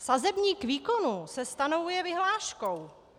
Sazebník výkonů se stanovuje vyhláškou.